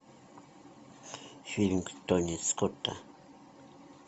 фильм тони скотта